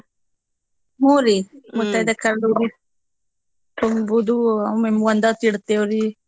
ಹೂರೀ ಮುತ್ತೈದೇರ್ ಕರ್ದು ಉಡಿ ತುಂಬೂದೂ ಅಮೇಲ್ ಒಂದೊತ್ತ್ ಇಡ್ತೇವ್ರೀ.